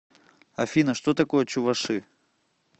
афина что такое чуваши